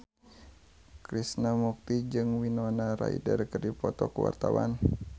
Krishna Mukti jeung Winona Ryder keur dipoto ku wartawan